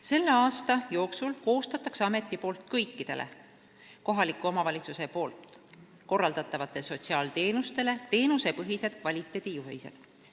Selle aasta jooksul koostab amet kõikidele kohaliku omavalitsuse korraldatavatele sotsiaalteenustele teenusepõhised kvaliteedijuhised.